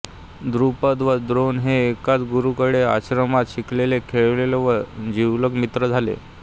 द्रुपद व द्रोण हे एकाच गुरूकडे आश्रमात शिकले खेळले व जिवलग मित्र झाले